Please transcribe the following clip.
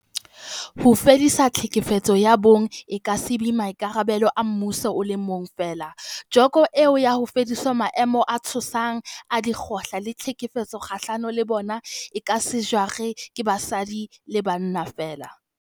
Ho fedisa tlhekefetso ya bong e ka se be maikarabelo a mmuso o le mong feela, joko eo ya ho fedisa maemo a tshosang a dikgoka le tlhekefetso kgahlano le bona, e ka se jarwe ke basadi le bana feela.